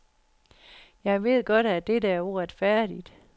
Jeg ved godt, at dette er uretfærdigt.